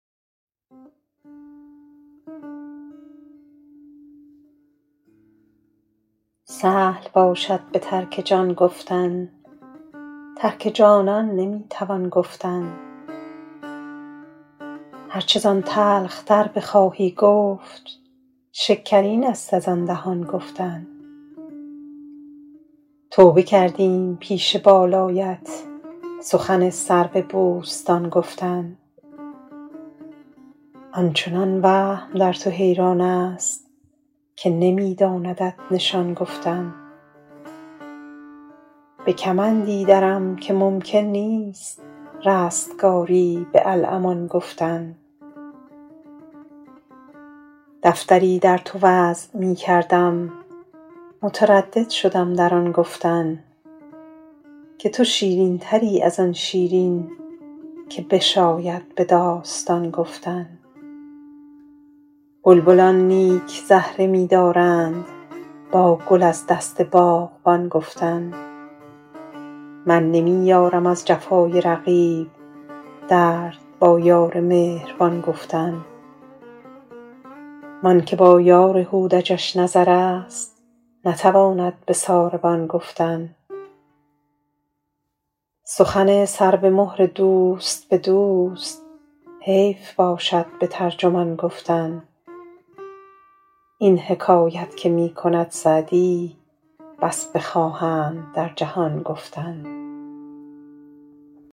سهل باشد به ترک جان گفتن ترک جانان نمی توان گفتن هر چه زان تلخ تر بخواهی گفت شکرین است از آن دهان گفتن توبه کردیم پیش بالایت سخن سرو بوستان گفتن آن چنان وهم در تو حیران است که نمی داندت نشان گفتن به کمندی درم که ممکن نیست رستگاری به الامان گفتن دفتری در تو وضع می کردم متردد شدم در آن گفتن که تو شیرین تری از آن شیرین که بشاید به داستان گفتن بلبلان نیک زهره می دارند با گل از دست باغبان گفتن من نمی یارم از جفای رقیب درد با یار مهربان گفتن وان که با یار هودجش نظر است نتواند به ساربان گفتن سخن سر به مهر دوست به دوست حیف باشد به ترجمان گفتن این حکایت که می کند سعدی بس بخواهند در جهان گفتن